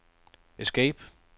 escape